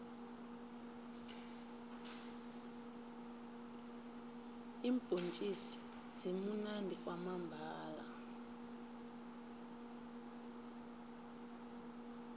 iimbhontjisi zimunandi kwamambhala